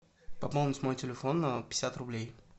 пополнить мой телефон на пятьдесят рублей